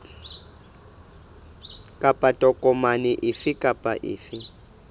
kapa tokomane efe kapa efe